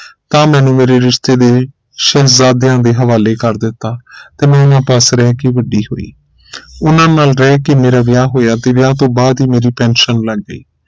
ਤਾਂ ਮੈਨੂੰ ਮੇਰੇ ਰਿਸ਼ਤੇ ਦੇ ਸ਼ਹਿਜ਼ਾਦਿਆਂ ਦੇ ਹਵਾਲੇ ਕਰ ਦਿੱਤਾ ਤੇ ਮੈਂ ਉਹਨਾਂ ਪਾਸੇ ਰਹਿ ਕੇ ਵੱਡੀ ਹੋਈ ਉਨ੍ਹਾਂ ਨਾਲ ਰਹਿ ਕੇ ਮੇਰਾ ਵਿਆਹ ਹੋਇਆ ਤੇ ਵਿਆਹ ਤੋਂ ਬਾਅਦ ਹੀ ਮੇਰੀ ਪੈਨਸ਼ਨ ਲਗ ਗਈ